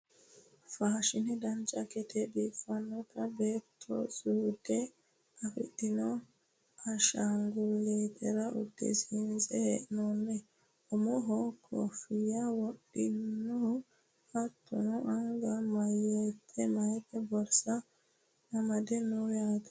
faashine dancha gede biiffannota beettu suude afidhino ashaangullittera uddisiinse hee'noonnita umohono kooffiyya wodhinoha hattono naga mayeete borsa amade no yaate